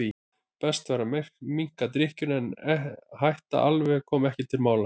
Best væri að minnka drykkjuna en að hætta alveg kom ekki til mála.